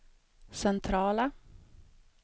centrala